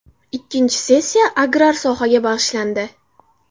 Ikkinchi sessiya agrar sohaga bag‘ishlandi.